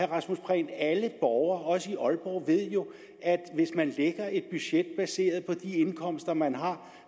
rasmus prehn at alle borgere også i aalborg ved jo at hvis man lægger et budget baseret på de indkomster man har